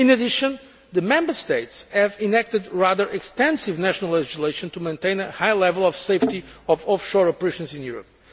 In addition, the Member States have enacted extensive national legislation to maintain a high level of safety of offshore operations in Europe.